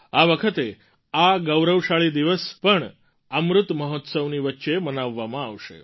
આ વખતે આ ગૌરવશાળી દિવસ પણ અમૃત મહોત્સવની વચ્ચે મનાવવામાં આવશે